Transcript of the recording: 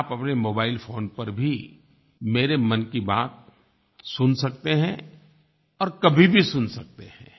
क्या आप अपने मोबाइल फ़ोन पर भी मेरे मन की बात सुन सकते हैं और कभी भी सुन सकते हैं